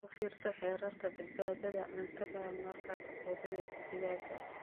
U fiirso xeerarka badbaadada cuntada markaad quudinayso digaagga.